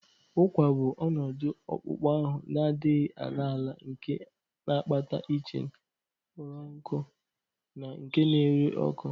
Ugwa bụ ọnọdụ akpụkpọ ahụ na-adịghị ala ala nke na-akpata itching, kpọrọ nkụ na nke na-ere ọkụ